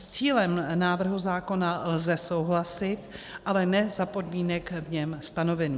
S cílem návrhu zákona lze souhlasit, ale ne za podmínek v něm stanovených.